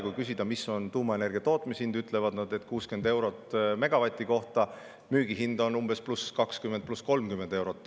Kui küsida, mis on tuumaenergia tootmishind, ütlevad nad, et 60 eurot megavati kohta, müügihind on umbes pluss 20 või 30 eurot.